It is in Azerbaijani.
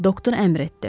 Doktor əmr etdi.